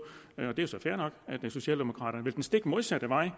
at socialdemokraterne vil den stik modsatte vej